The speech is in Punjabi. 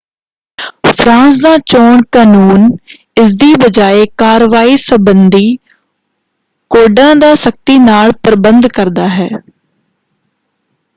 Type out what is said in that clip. ਫਰਾਂਸ ਦਾ ਚੋਣ ਕਨੂੰਨ ਇਸਦੀ ਬਜਾਏ ਕਾਰਵਾਈ ਸੰਬੰਧੀ ਕੋਡਾਂ ਦਾ ਸਖਤੀ ਨਾਲ ਪ੍ਰਬੰਧ ਕਰਦਾ ਹੈ।